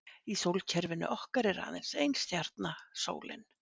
Í sólkerfinu okkar er aðeins ein stjarna, sólin.